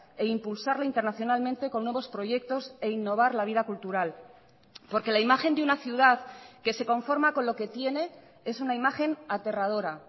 e impulsarla internacionalmente con nuevos proyectos e innovar la vida cultural porque la imagen de una ciudad que se conforma con lo que tiene es una imagen aterradora